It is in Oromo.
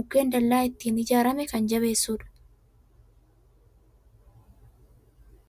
mukkeen dallaan ittiin ijaarame kan jabeessudha.